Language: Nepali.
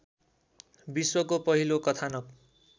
विश्वको पहिलो कथानाक